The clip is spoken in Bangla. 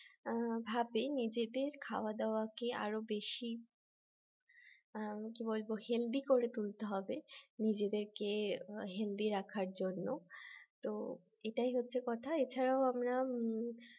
ভাবে নিজেদের খাওয়া দাওয়াকে আরো বেশি কি বলবো healthy করে তুলতে হবে নিজেদেরকে healthy রাখার জন্য তো এটাই হচ্ছে কথা এছাড়াও আমরা উম